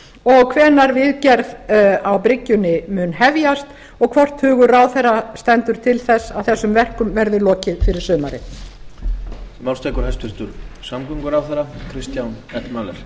og hvenær viðgerð á bryggjunni muni hefjast og hvort hugur ráðherra standi til þess að þessum verkum verði lokið fyrir sumar